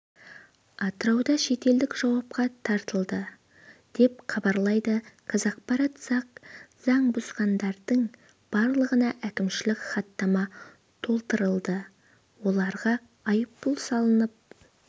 атырауда шетелдік жауапқа тартылды деп хабарлайды қазақпарат заң бұзғандардың барлығына әкімшілік хаттама толтырылды оларға айыппұл салынып